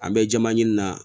An bɛ jama ɲini na